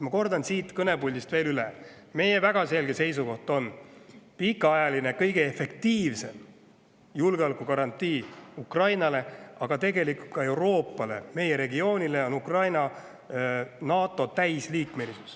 Ma kordan siit kõnepuldist üle meie väga selge seisukoha: kõige efektiivsem pikaajaline julgeolekugarantii Ukrainale – tegelikult ka Euroopale, meie regioonile – on Ukraina NATO täisliikmeks.